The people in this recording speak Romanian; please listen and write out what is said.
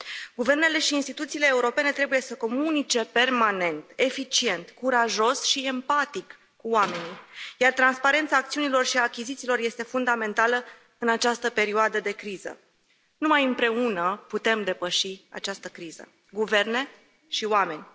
Guvernele și instituțiile europene trebuie să comunice permanent, eficient, curajos și empatic cu oamenii, iar transparența acțiunilor și a achizițiilor este fundamentală în această perioadă de criză. Numai împreună putem depăși această criză, guverne și oameni.